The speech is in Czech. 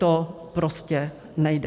To prostě nejde.